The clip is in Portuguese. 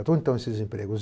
Onde estão esses empregos?